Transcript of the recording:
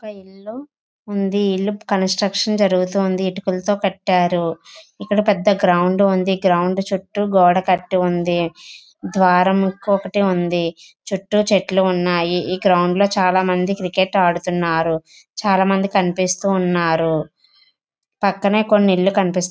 ఒక ఇల్లు ఉంది. ఇల్లు కాంట్రక్షన్ జరుగుతుంది. ఇటికలతో కట్టారు. ఇక్కడ పెద్ద గ్రౌండ్ ఉంది. గ్రౌండ్ చుట్టూ పెద్ద గోడ కట్టి ఉంది. ద్వారము ఒకటే ఉంది. చుట్టూ చెట్లు ఉన్నాయి. ఈ గ్రౌండ్ లో చాలా మంది క్రికెట్ ఆడుతున్నారు చాలా మంది కనిపిస్తున్నారు. పక్కనే కొన్ని ఇల్లులు కనిపిస్ --